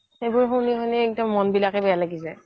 সেইবোৰ শুনি শুনি একেবাৰে মন বিলাকে বেয়া লাগি যাই